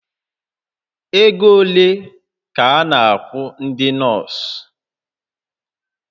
Ego ole ka a na-akwụ ndị nọọsụ?